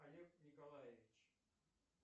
олег николаевич